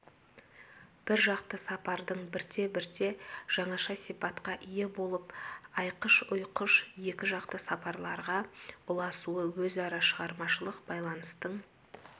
бір жақты сапардың бірте-бірте жаңаша сипатқа ие болып айқыш-ұйқыш екіжақты сапарларға ұласуы өзара шығармашылық байланыстың